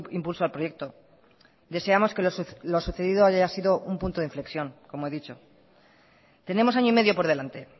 impulso al proyecto deseamos que lo sucedido haya sido un punto de inflexión como he dicho tenemos año y medio por delante